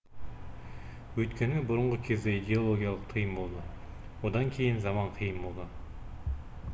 өйткені бұрынғы кезде идеологиялық тыйым болды одан кейін заман қиын болды